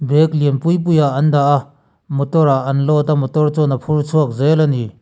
bag lian pui pui ah an dah a motor ah an load a motor chuan an phur chhuak zel ani.